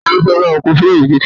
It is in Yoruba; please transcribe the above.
Ta ló fẹ́ bá ọ kun fireemu kèké rẹ?